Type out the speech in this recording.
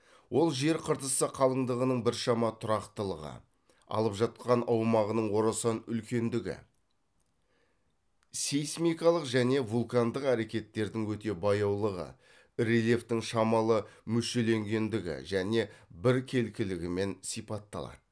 ол жер қыртысы қалыңдығының біршама тұрақтылығы алып жатқан аумағының орасан үлкендігі сейсмикалық және вулкандық әрекеттердің өте баяулығы рельефтің шамалы мүшеленгендігі және біркелкілігімен сипатталады